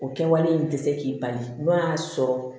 O kɛwale in tɛ se k'i bali n'o y'a sɔrɔ